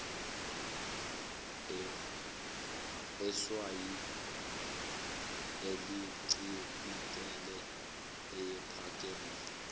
eswayi elincibikele ayephakeme